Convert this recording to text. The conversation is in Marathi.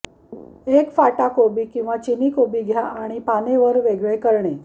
एक फाटा कोबी किंवा चीनी कोबी घ्या आणि पाने वर वेगळे करणे